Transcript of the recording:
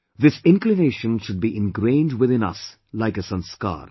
This inclination should be ingrained within us like a sanskaar